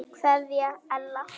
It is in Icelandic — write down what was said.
Kveðja Ella.